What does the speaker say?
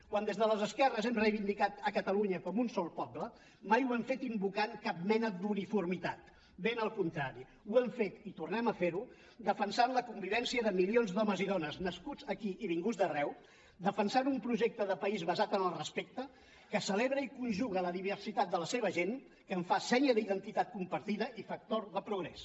quan des de les esquerres hem reivindicat a catalunya com un sol poble mai ho hem fet invocant cap mena d’uniformitat ben al contrari ho hem fet i tornem a fer ho defensant la convivència de milions d’homes i dones nascuts aquí i vinguts d’arreu defensant un projecte de país basat en el respecte que celebra i conjuga la diversitat de la seva gent que en fa senya d’identitat compartida i factor de progrés